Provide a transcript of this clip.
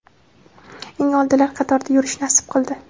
eng oldilar qatorida yurish nasib qildi.